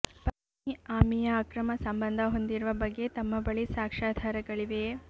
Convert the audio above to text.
ಪತ್ಮಿ ಆಮಿಂುು ಅಕ್ರಮ ಸಂಬಂಧ ಹೊಂದಿರುವ ಬಗ್ಗೆ ತಮ್ಮ ಬಳಿ ಸಾಕ್ಷ್ಯಾಧಾರಗಳಿವೆ